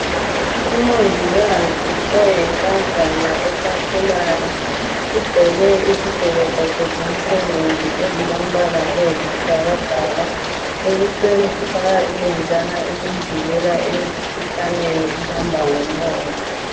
Umongikazi oyinkazana esakhulayo ugqoke izigqoko zakhe zomsebenzi ezilombala oyisibhakabhaka. Ebusweni ufaka ilenjana elimvikela emikhuhlaneni ehamba ngomoya.